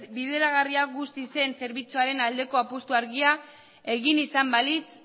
bideragarria guztiz zen zerbitzuaren aldeko apustu argia egin izan balitz